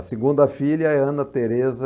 A segunda filha é Ana Tereza...